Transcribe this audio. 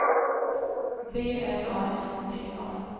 B L A N D A